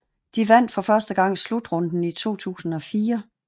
De vandt for første gang slutrunden i 2004